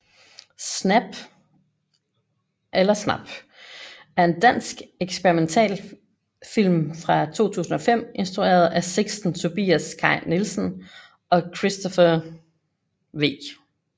Snap er en dansk eksperimentalfilm fra 2005 instrueret af Sixten Tobias Kai Nielsen og Christophe V